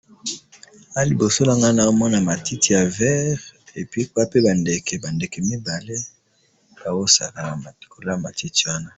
awa liboso nanga nazo mona matiti ya vert pe likolo ya matiti nazomona ba ndeke mibale ezo sakna na matiti wana.